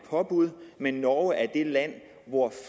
påbud men at norge er det land hvor